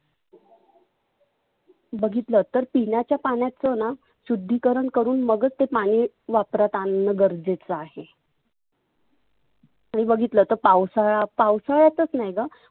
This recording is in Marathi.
बघितलं तर पिण्याच्या पाण्याचना शुद्धीकरण करुण मगच ते पाणि वापरात आणन गरजेच आहे. आणि बघितलं तर पावसाळा पाऊस कळतच नाही ग.